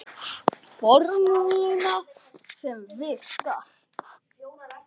Formúla sem virkar.